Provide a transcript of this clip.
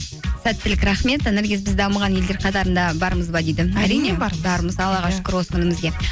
сәттілік рахмет наргиз біз дамыған елдер қатарында бармыз ба дейді бармыз аллаға шүкір осы күнімізге